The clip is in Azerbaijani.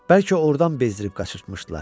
Bəlkə ordan bezdirib qaçırtmışdılar.